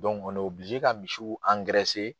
ka misiw